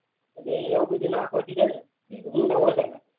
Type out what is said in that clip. અને એવું બધું નાખવા થી ભૂંડા ઓછા લાગે